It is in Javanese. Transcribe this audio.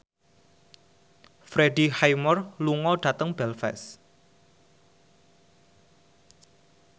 Freddie Highmore lunga dhateng Belfast